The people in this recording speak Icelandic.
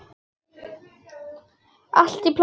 Allt í plati!